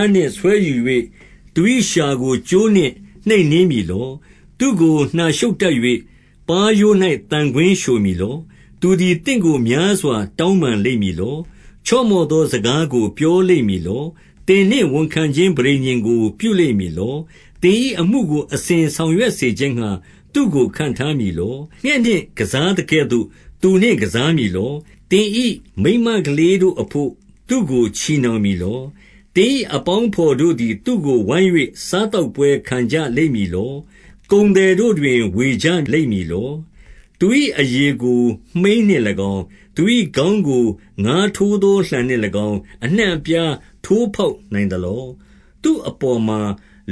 ားနှင့် ဆွဲယူ၍၊ သူ၏လျှာကို ကြိုးနှင့်နှိပ်နင်းမည်လော။ 2 သူ့ကို နှာရှုတ်တပ်၍၊ ပါးရိုး၌သံကွင်းလျှိုမည် လော။ 3 သူသည်သင့်ကိုများစွာ တောင်းပန်လိမ့်မည် လော။ ချော့မော့သောစကားကို ပြောလိမ့်မည်လော။ 4 သင်နှင့်ဝန်ခံခြင်း ပဋိညာဉ်ကို ပြုလိမ့်မည် လော။ သင်၏အမှုကို အစဉ်ဆောင်ရွက်စေခြင်းငှါ သူ့ကို ခန့်ထားမည်လော။ 5 ငှက်နှင့်ကစားသကဲ့သို့ သူနှင့်ကစားမည်လော။ သင်၏မိန်းမကလေးတို့အဘို့ သူ့ကိုချည်နှောင်မည်လော။ 6 သင်၏အပေါင်းအဘော်တို့သည် သူ့ကိုဝိုင်း၍ စားသောက်ပွဲခံကြလိမ့်မည်လော။ ကုန်သည်တို့တွင် ဝေကြလိမ့်မည်လော။ 7 သူ၏အရေကို မှိန်းနှင့်၎င်း၊ သူ၏ခေါင်းကို ငါးထိုးသောလှံနှင့်၎င်း၊ အနှံ့အပြားထိုးဖောက်နိုင် သလော။ 8 သူ့အပေါ်မှာ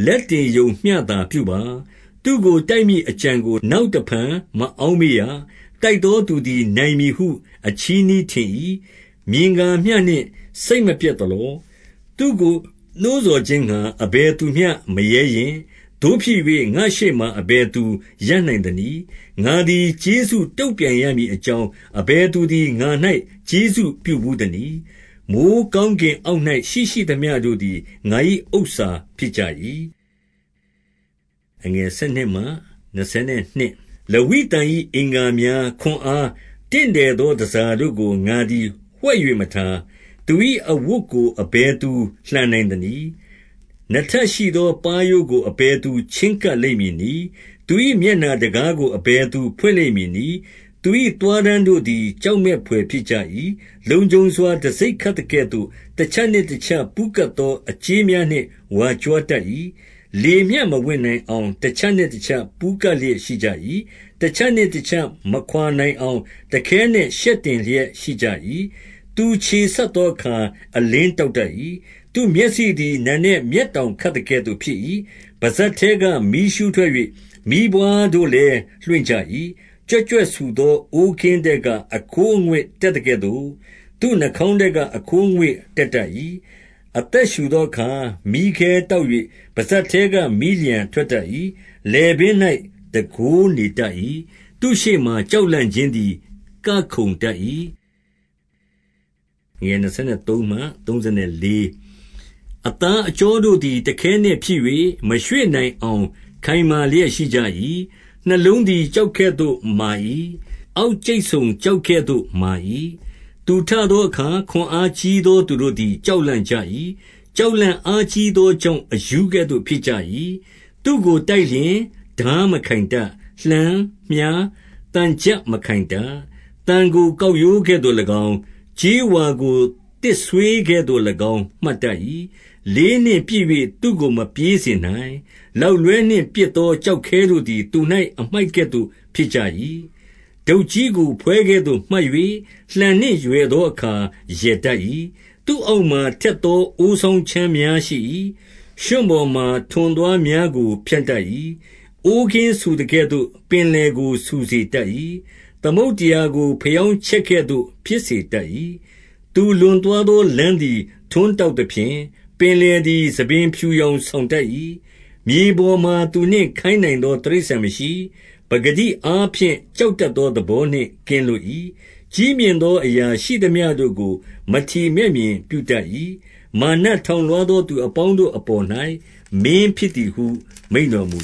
လက်တင်ရုံမျှသာ ပြုပါ။ သူ့ကို တိုက်မည်အကြံကို နောက်တဖန်မအောက်မေ့ရ။ 9 တိုက်သောသူသည်နိုင်မည်ဟု အချည်းနှီး ထင်၏။ မြင်ကာမျှနှင့် စိတ်မပျက်သလော။ 10 သူ့ကိုနှိုးဆော်ခြင်းငှါ အဘယ်သူမျှမရဲရင့်။ သို့ဖြစ်၍ ငါ့ရှေ့မှာ အဘယ်သူရပ်နိုင်သနည်း။ 11 ငါသည် ကျေးဇူးတုံ့ပြုရမည်အကြောင်း အဘယ် သူသည် ငါ၌ ကျေးဇူးပြုဘူးသနည်း။ မိုဃ်းကောင်းကင် အောက်၌ ရှိသမျှတို့သည် ငါ၏ ဥစ္စာဖြစ်ကြ၏။ 12 လဝိသန်၏အင်္ဂါများ၊ ခွန်အား၊ တင့်တယ်သော တန်ဆာတို့ကို ငါသည် ဝှက်၍မထား။ 13 သူ၏အဝတ်ကို အဘယ်သူလှန်နိုင်သနည်း။ နှစ်ထပ်ရှိသော ပါးရိုးကို အဘယ်သူချဉ်းကပ်လိမ့်မည် နည်း။ 14 သူ၏မျက်နှာတံခါးကို အဘယ်သူဖွင့်လိမ့်မည်နည်း။ သူ၏ သွားတန်းတို့သည် ကြောက်မက်ဘွယ် ဖြစ်ကြ၏။ 15 လုံခြုံစွာ တံဆိပ်ခတ်သကဲ့သို့ တချပ်နှင့် တချပ် ပူးကပ်သောအကြေးများနှင့် ဝါကြွားတတ်၏။ 16 လေမျှမဝင်နိုင်အောင် တချပ်နှင့်တချပ် ပူးကပ် လျက်ရှိကြ၏။ 17 တချပ်နှင့်တချပ် မခွါနိုင်အောင် တခဲနက် ရှက်တင်လျက်ရှိကြ၏။ 18 သူချေဆတ်သောအခါ အလင်းတောက်တတ်၏။ သူ့မျက်စိသည် နံနက်မျက်တောင်ခတ်သကဲ့သို့ ဖြစ်၏။ 19 ပစပ်ထဲက မီးရူးထွက်၍ မီးပွါးတို့လည်း လွင့်ကြ၏။ 20 ကြွက်ကြွက်ဆူသော အိုးကင်းထဲက အခိုးအငွေ့ တတ်သကဲ့သို့ သူ့နှာခေါင်းထဲက အခိုးအငွေ့တက်တတ် ၏။ 21 အသက်ရှုသောအခါ မီးခဲတောက်၍ ပစပ်ထဲက မီးလျှံထွက်တတ်၏။ 22 လည်ပင်း၌ တန်ခိုးနေတတ်၏။ သူ့ရှေ့မှာ ကြောက်လန့်ခြင်းသည် ကခုန်တတ်၏။ 23 အသားအကြောတို့သည် တခဲနက်ဖြစ်၍ မရွေ့နိုင်အောင် ခိုင်မာလျက် ရှိကြ၏။ 24 နှလုံးသည် ကျောက်ကဲ့သို့မာ၏။ အောက်ကြိတ် ဆုံကျောက်ကဲ့သို့ မာ၏။ 25 သူထသောအခါ ခွန်အားကြီးသောသူတို့သည် ကြောက်လန့်ကြ၏။ ကြောက်လန့်အားကြီးသောကြောင့် အရူးကဲ့သို့ ဖြစ်ကြ၏။ 26 သူ့ကိုတိုက်လျှင်ထားမခိုင်တတ်။ လှံ၊ မြှား၊ သံချပ်မခိုင်တတ်။ 27 သံကို ကောက်ရိုးကဲ့သို့၎င်း၊ ကြေးဝါကို သစ်ဆွေး ကဲ့သို့၎င်း မှတ်တတ်၏။ 28 လေးနှင့်ပစ်၍ သူ့ကိုမပြေးစေနိုင်။ လောက်လွှဲ နှင့်ပစ်သောကျောက်ခဲတို့သည် သူ၌ အမှိုက်ကဲ့သို့ ဖြစ်ကြ၏။ 29 ဒုတ်ကြီးကို ဖွဲကဲ့သို့မှတ်၍၊ လှံနှင့်ရွယ်သောအခါ ရယ်တတ်၏။ 30 သူ့အောက်မှာ ထက်သောအိုးစောင်းခြမ်းများရှိ၏။ ရွံ့ပေါ်မှာ ထွန်သွားများကို ဖြန့်တတ်၏။ 31 အိုးကင်းဆူသကဲ့သို့ ပင်လယ်ကိုဆူစေတတ်၏။ သမုဒ္ဒရာကို ဘယောင်းချက်ကဲ့သို့ ဖြစ်စေတတ်၏။ 32 သူလွန်သွားသောလမ်းသည် ထွန်းတောက် သဖြင့်၊ ပင်လယ်သည် ဆံပင်ဖြူယောင်ဆောင်တတ်၏။ 33 မြေပေါ်မှာသူနှင့်ခိုင်းနိုင်သော တိရစ္ဆာန်မရှိ။ ပကတိအားဖြင့် ကြောက်တတ်သောသဘောနှင့် ကင်းလွတ်၏။ 34 ကြီးမြင့်သောအရာရှိသမျှတို့ကို မထီမဲ့မြင်ပြု တတ်၏။ မာနထောင်လွှားသောသူအပေါင်းတို့အပေါ်၌ မင်းဖြစ်သည်ဟု မိန့်တော်မူ